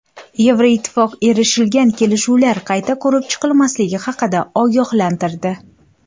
Yevroittifoq erishilgan kelishuvlar qayta ko‘rib chiqilmasligi haqida ogohlantirdi.